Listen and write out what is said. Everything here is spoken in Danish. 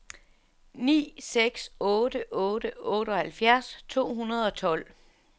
ni seks otte otte otteoghalvfjerds to hundrede og tolv